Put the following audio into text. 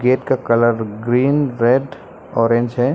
Gate का colour green red orange है।